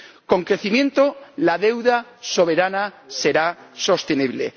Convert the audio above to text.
Con crecimiento, la deuda soberana será sostenible.